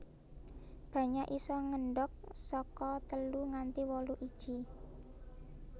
Banyak isa ngendhog saka telu nganti wolu iji